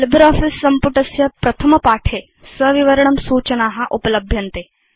LibreOffice सम्पुटस्य प्रथमपाठे सविवरणं सूचना उपलभ्यन्ते